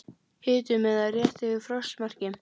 Hiti um eða rétt yfir frostmarki